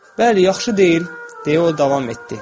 Bəli, yaxşı deyil, deyə o davam etdi.